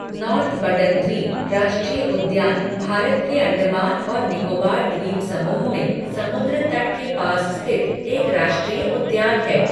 North Button द्वीप राष्ट्रीय उद्यान भारत के अंडमान और निकोबार द्वीप समूह में समुद्रतट के पास स्थित एक राष्ट्रीय उद्यान है।